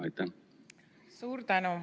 Suur tänu!